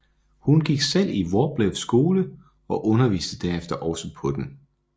Hun gik selv i Wroblewskys skole og underviste derefter også på den